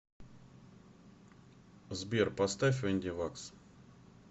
сбер поставь энди вакс